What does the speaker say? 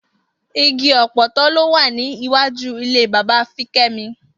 Igi ò̩pò̩tó̩ ló wà ní iwájú ilé bàbá Fiké̩mi